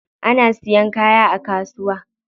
Ana siyan kaya a kasuwa.